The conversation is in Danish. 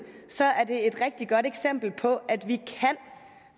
et rigtig godt eksempel på at vi kan